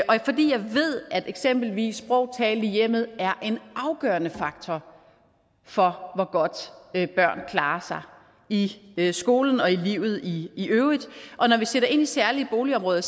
ved at eksempelvis sprog talt i hjemmet er en afgørende faktor for hvor godt børn klarer sig i skolen og i livet i øvrigt når vi sætter ind i særlige boligområder